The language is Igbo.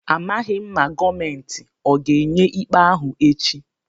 A maghị m ma gọọmentị ọ ga-enye ikpe ahụ echi.